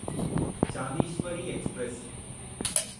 Dnyaneshwari express